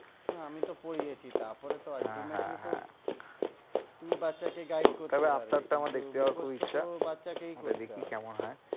আমি তো পড়িয়েছি তারপরে তো ultimately তো তুমি বাচ্ছাকে guide করতে পারবে কিন্তু মুখস্ততো বাচ্ছাকেই করতে হবে। তাহলে আবতার টা আমার দেখতে যাওয়ার খুব ইচ্ছা, ওটা দেখি কেমন হয়!